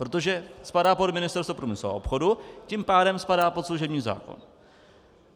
Protože spadá pod Ministerstvo průmyslu a obchodu, tím pádem spadá pod služební zákon.